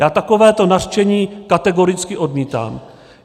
Já takové nařčení kategoricky odmítám.